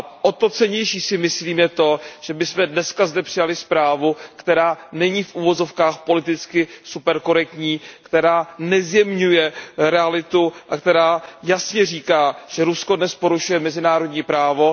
O to cennější, si myslím, je to, že my jsme dnes zde přijali zprávu, která není politicky super korektní, která nezjemňuje realitu a která jasně říká, že Rusko dnes porušuje mezinárodní právo.